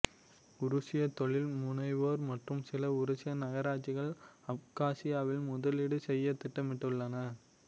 உருசிய தொழில் முனைவோர் மற்றும் சில உருசிய நகராட்சிகள் அப்காசியாவில் முதலீடு செய்ய திட்டமிட்டுள்ளன